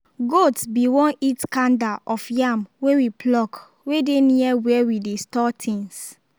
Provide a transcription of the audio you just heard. goat be won eat kanda of yam wey we pluck wey dey near where we dey store things